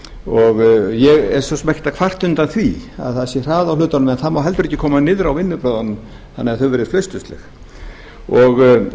svo sem ekkert að kvarta undan því að það sé hraði á hlutunum en það má heldur ekki koma niður á vinnubrögðunum þannig að þau